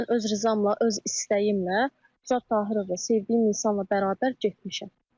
Mən öz rızamla, öz istəyimlə Turab Tahirovla sevdiyim insanla bərabər getmişəm.